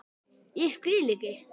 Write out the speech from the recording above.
Ég skil ekki.